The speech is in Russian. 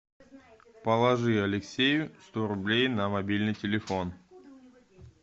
положи алексею сто рублей на мобильный телефон